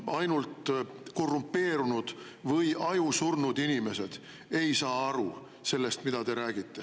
Ainult korrumpeerunud või ajusurnud inimesed ei saa aru sellest, mida te räägite.